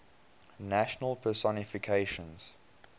national personifications